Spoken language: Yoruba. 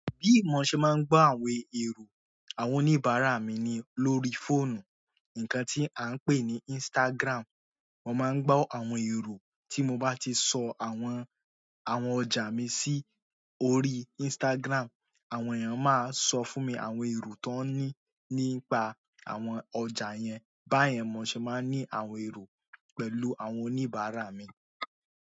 Bí mo ṣe máa ń gbọ́ àwọn èrò àwọn oníbàárà mi ni lórí fóònù, ǹkan tí à ń pè ní Instagram. Mo má ń gbọ́ àwọn èrò tí mo bá ti sọ àwọn ọjà mi sí orí instagram. Àwọn èyàn má ń sọ èrò ton ni nípa àwọn ọjà yẹn báyẹn mo ṣe máa ní àwọn èrò pẹ̀lú àwọn oníbàárà mi.